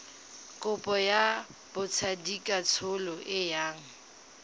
kopo ya botsadikatsholo e yang